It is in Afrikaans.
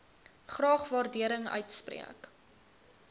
graag waardering uitspreek